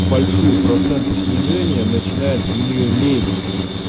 большие проценты снижения начинает в нее лезть